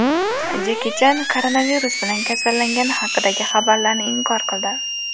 Jeki Chan koronavirus bilan kasallangani haqidagi xabarlarni inkor qildi.